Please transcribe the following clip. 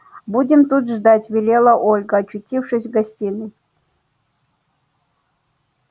будем тут ждать велела ольга очутившись в гостиной